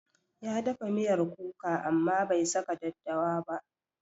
Ya dafa miyar kuka amma bai saka daddawa ba.